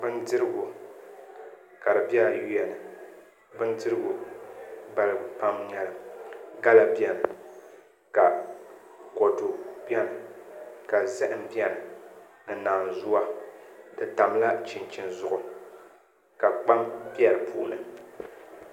Bindirigu ka di bɛ ayuwa ni bindirigu balibu pam n nyɛli gala biɛni ka kodu biɛni ka zaham biɛni ni naanzuwa di tamla chinchin zuɣu ka kpam bɛ di puuni